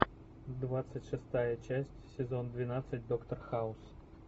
двадцать шестая часть сезон двенадцать доктор хаус